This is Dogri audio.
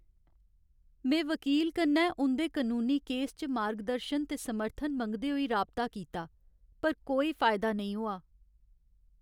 में वकील कन्नै उं'दे कनूनी केस च मार्गदर्शन ते समर्थन मंगदे होई राबता कीता, पर कोई फायदा नेईं होआ!